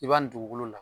I b'a nin dugukolo la